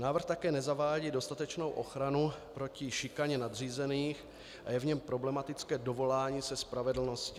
Návrh také nezavádí dostatečnou ochranu proti šikaně nadřízených a je v něm problematické dovolání se spravedlnosti.